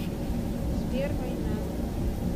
сбер война